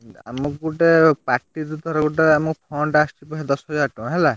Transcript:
ଆମକୁ ଗୁଟେ party ରୁ ଥରେ ଗୁଟେ ଆମକୁ fund ଦଶହଜାର ଟଙ୍କା ହେଲା।